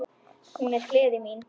Hún er gleði mín.